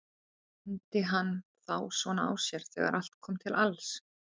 Leyndi hann þá svona á sér þegar allt kom til alls?